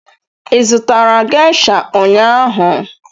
ị zụtara gesha ụnyaahụ?